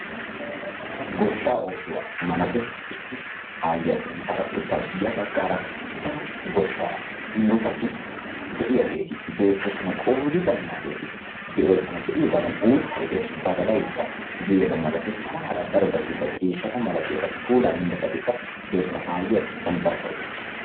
Goshshaa oosuwa malates. Issi aayyiya sinttaara uttaasu. Ya baggaara daro goshshaa murutati de'iyageeti beettoosona. Qoodi baynnaageeti de"oosona be'iyogaadan uuttayi de'es badalaykka de'es hara harabati darobati ciishshata malatiyabati puulaa immiyabatikka doosona aayyiya sinttan barkka uttaasu.